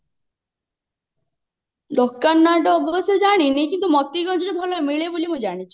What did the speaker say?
ଦୋକାନ ନା ଟା ଅବଶ୍ୟ ଜାଣିନି କିନ୍ତୁ ମତିଗଞ୍ଜରେ ଭଲ ମିଳେ ବୋଲି ମୁଁ ଜାଣିଛି